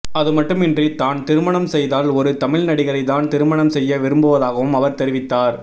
அதுமட்டுமின்றி தான் திருமணம் செய்தால் ஒரு தமிழ் நடிகரை தான் திருமணம் செய்ய விரும்புவதாகவும் அவர் தெரிவித்தார்